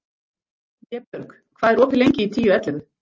Vébjörg, hvað er opið lengi í Tíu ellefu?